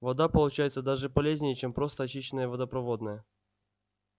вода получается даже полезнее чем просто очищенная водопроводная